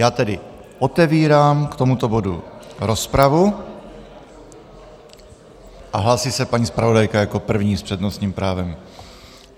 Já tedy otevírám k tomuto bodu rozpravu a hlásí se paní zpravodajka jako první s přednostním právem.